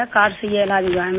card से ही इलाज हुआ है मेरा